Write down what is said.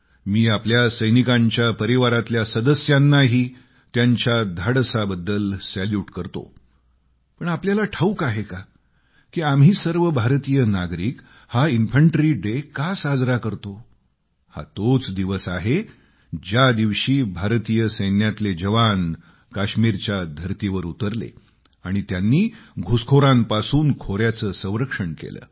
मी आपल्या सैनिकांच्या परिवारातल्या सदस्यांनाही त्यांच्या धाडसाबद्दल सॅल्युट करतो पण आपल्याला ठाऊक आहे का आम्ही सर्व भारतीय नागरिक हा इन्फंट्री डे का मानतो हा तोच दिवस आहे ज्या दिवशी भारतीय सैन्यातले जवान काश्मीरच्या धरतीवर उतरले आणि घुसखोरांपासून खोर्याचे संरक्षण केले